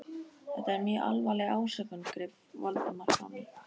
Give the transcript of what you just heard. Þetta var mjög alvarleg ásökun- greip Valdimar fram í.